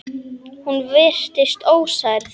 Hún virtist ósærð.